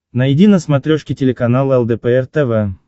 найди на смотрешке телеканал лдпр тв